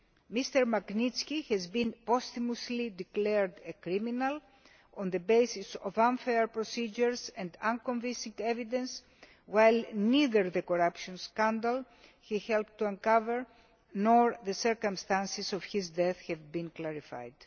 Mr Magnitsky has been posthumously declared a criminal on the basis of unfair procedures and unconvincing evidence, while neither the corruption scandal he helped to uncover nor the circumstances of his death have been clarified.